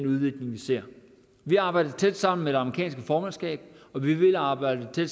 udvikling vi ser vi arbejder tæt sammen med det amerikanske formandskab og vi vil arbejde